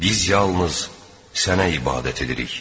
Biz yalnız Sənə ibadət edirik.